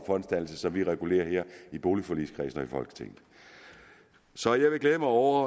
fondsdannelse som vi regulerer her i boligforligskredsen og i folketinget så jeg vil glæde mig over